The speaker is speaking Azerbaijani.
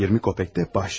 İyirmi qəpik də bahşiş.